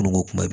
N ko kuma bɛɛ